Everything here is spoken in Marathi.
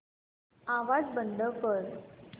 आवाज बंद कर